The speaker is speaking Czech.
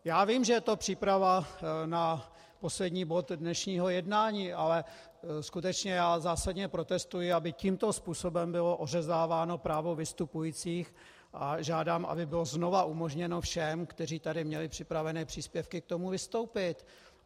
Já vím, že je to příprava na poslední bod dnešního jednání, ale skutečně já zásadně protestuji, aby tímto způsobem bylo ořezáváno právo vystupujících, a žádám, aby bylo znova umožněno všem, kteří tady měli připravené příspěvky k tomu, vystoupit.